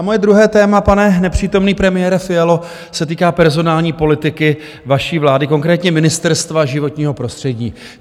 A moje druhé téma, pane nepřítomný premiére Fialo, se týká personální politiky vaší vlády, konkrétně Ministerstva životního prostředí.